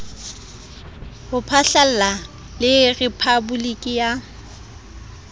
ho phatlalla le rephaboliki ya